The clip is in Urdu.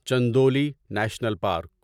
Chandauli national park